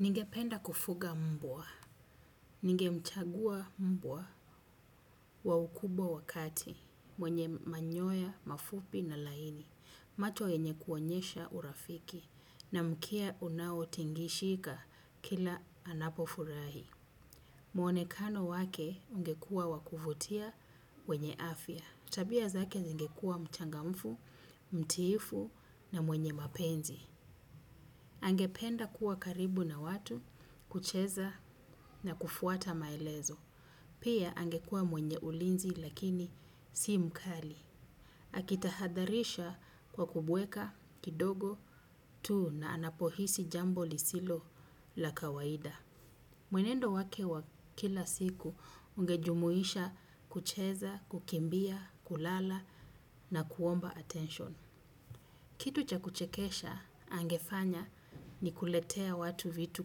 Ningependa kufuga mbwa. Ninge mchagua mbua wa ukubwa wakati, mwenye manyoya, mafupi na laini, macho enye kuonyesha urafiki, na mkia unao tingishika kila anapofurahi. Mwonekano wake ungekua wakufutia wenye afya. Tabia zake zingekua mchangamfu, mtiifu na mwenye mapenzi. Angependa kuwa karibu na watu, kucheza na kufuata maelezo. Pia angekua mwenye ulinzi lakini si mkali. Akitahadharisha kwa kubweka kidogo tu na anapohisi jambo lisilo la kawaida. Mwenendo wake wa kila siku ungejumuisha kucheza, kukimbia, kulala na kuomba attention. Kitu cha kuchekesha angefanya ni kuletea watu vitu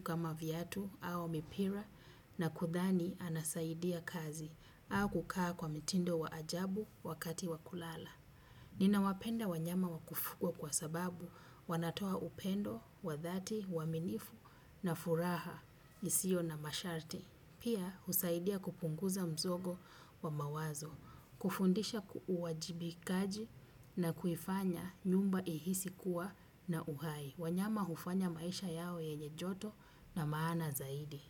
kama vyatu au mipira na kudhani anasaidia kazi au kukaa kwa mitindo wa ajabu wakati wakulala. Ninawapenda wanyama wakufukwa kwa sababu wanatoa upendo, wadhati, waminifu na furaha isio na masharti. Pia, husaidia kupunguza msongo wa mawazo. Kufundisha uwajibikaji, na kuifanya nyumba iisi kuwa na uhai. Wanyama hufanya maisha yao yenye joto na maana zaidi.